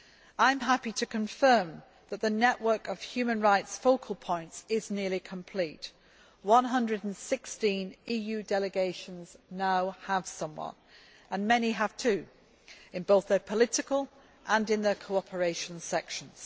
I am happy to confirm that the network of human rights focal points is nearly complete 116 EU Delegations now have someone, and many have two, in both their political and cooperation sections.